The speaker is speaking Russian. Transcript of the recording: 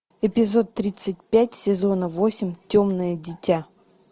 эпизод тридцать пять сезона восемь темное дитя